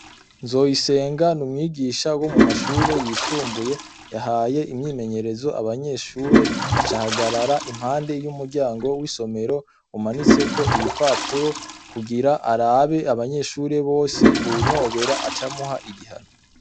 Nzoyisenga ni umwigisha wo mu mashure yisumbuye yahaye imyimenyerezo abanyeshure acahagarara impande y'umuryango w'isomero umanitseko ibipapuro kugira arabe abanyeshure bose uwunobera ace amuha igihano